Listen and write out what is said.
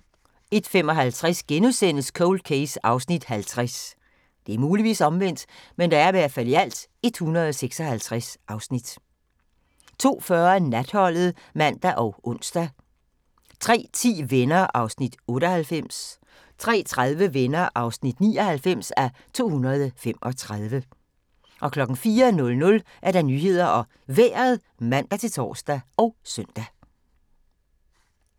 01:55: Cold Case (50:156)* 02:40: Natholdet (man og ons) 03:10: Venner (98:235) 03:30: Venner (99:235) 04:00: Nyhederne og Vejret (man-tor og søn)